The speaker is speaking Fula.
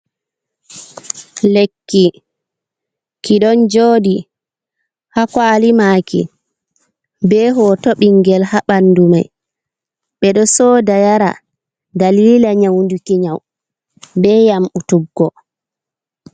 Lekki, ki ɗon jodi ha kwaali maki, be hoto ɓingel ha bandu mai, ɓeɗo soda yara dalila nyaunduki nyau ɓe yamɓutuggo.